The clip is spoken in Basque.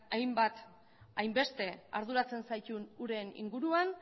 hainbat hainbeste arduratzen zaituen uren inguruan